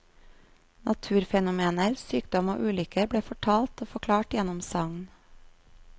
Naturfenomener, sykdom og ulykker ble fortalt og forklart gjennom sagn.